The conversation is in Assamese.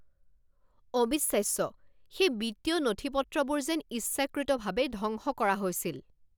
অবিশ্বাস্য! সেই বিত্তীয় নথিপত্ৰবোৰ যেন ইচ্ছাকৃতভাৱে ধ্বংস কৰা হৈছিল!